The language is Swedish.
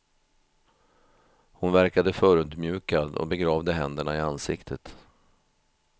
Hon verkade förödmjukad och begravde händerna i ansiktet.